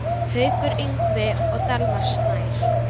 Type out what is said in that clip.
Haukur Ingvi og Dalmar Snær.